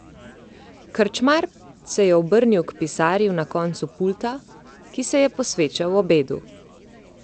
Krčmar se je obrnil k pisarju na koncu pulta, ki se je posvečal obedu.